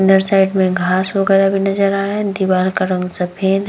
अन्दर साइड में घास वगेरह भी नजर आ रहा है दीवार का रंग सफ़ेद है।